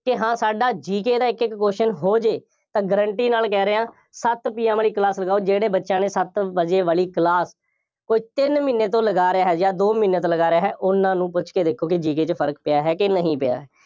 ਕਿ ਹਾਂ ਸਾਡਾ GK ਦਾ ਇੱਕ ਇੱਕ question ਹੋ ਜਾਏ, ਤਾਂ guarantee ਨਾਲ ਕਹਿ ਰਿਹਾਂ, ਸੱਤ PM ਵਾਲੀ class ਲਗਾਓ, ਜਿਹੜੇ ਬੱਚਿਆਂ ਨੇ ਸੱਤ ਵਜੇ ਵਾਲੀ class, ਕੋਈ ਤਿੰਨ ਮਹੀਨੇ ਤੋ ਲਗਾ ਰਿਹਾ ਹੈ ਜਾਂ ਦੋ ਮਹੀਨੇ ਤੋਂ ਲਗਾ ਰਿਹਾ ਹੈ, ਉਹਨਾ ਨੂੰ ਪੁੱਛ ਕੇ ਦੇਖੋ ਕਿ GK ਚ ਫਰਕ ਪਿਆ ਹੈ ਜਾਂ ਨਹੀਂ ਪਿਆ।